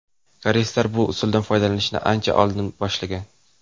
Koreyslar bu usuldan foydalanishni ancha oldin boshlagan .